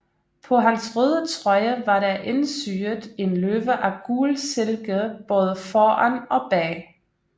På hans røde trøje var der indsyet en løve af gul silke både foran og bag